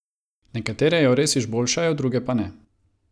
Nekatere jo res izboljšajo, druge pa ne.